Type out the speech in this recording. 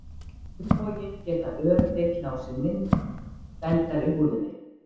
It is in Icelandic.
Á hinn bóginn geta ör tekið á sig mynd dældar í húðinni.